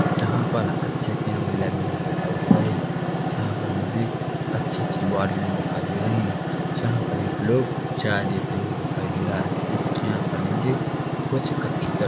यहां पर अच्छे कैमरे लगे हुए दिखाई दे रहे है जहां पर मुझे अच्छी सी बोटले दिखाई दे रही है जहां पर एक लोग चाय देते हुए दिखाई दे रहा है यहां पर मुझे कुछ अच्छी तरह--